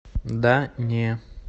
да не